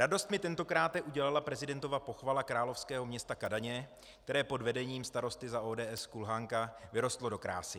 Radost mi tentokráte udělala prezidentova pochvala královského města Kadaně, které pod vedením starosty za ODS Kulhánka vyrostlo do krásy.